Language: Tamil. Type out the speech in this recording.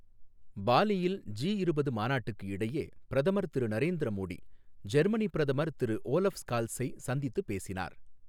பாலியில் ஜி இருபது மாநாட்டுக்கு இடையே பிரதமர் திரு நரேந்திர மோடி, ஜெர்மனி பிரதமர் திரு ஓலஃப் ஸ்கால்சை சந்தித்துப் பேசினார்.